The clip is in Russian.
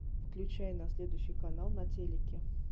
включай на следующий канал на телике